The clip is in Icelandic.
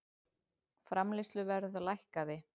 Framleiðsluverð lækkaði